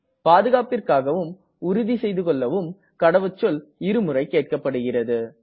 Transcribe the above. பாதுகாப்பிற்க்காகவும் உறுதி செய்துகெள்ளவும் கடவுச்சொல் இரு முறை கேட்கப்படுகிறது